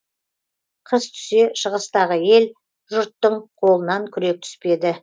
қыс түсе шығыстағы ел жұрттың қолынан күрек түспеді